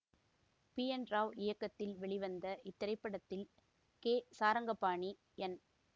B N Rao இயக்கத்தில் வெளிவந்த இத்திரைப்படத்தில் கே சாரங்கபாணி என்